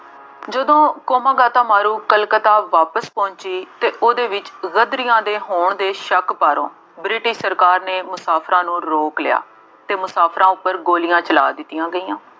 ਜਦੋਂ ਕਾਮਾਗਾਟਾਮਾਰੂ ਕਲਕੱਤਾ ਵਾਪਸ ਪਹੁੰਚੀ ਅਤੇ ਉਹਦੇ ਵਿੱਚ ਗਦਰੀਆਂ ਦੇ ਹੋਣ ਦੇ ਸ਼ੱਕ ਬਾਰੋਂ ਬ੍ਰਿਟਿਸ਼ ਸਰਕਾਰ ਨੇ ਮੁਸਾਫਿਰਾਂ ਨੂੰ ਰੋਕ ਲਿਆ ਅਤੇ ਮੁਸਾਫਿਰਾਂ ਉੱਪਰ ਗੋਲੀਆਂ ਚਲਾ ਦਿੱਤੀਆਂ।